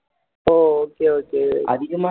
O okay okay